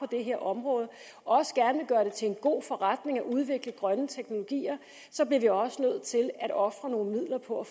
det her område og også gerne til en god forretning at udvikle grønne teknologier så bliver vi også nødt til at ofre nogle midler på at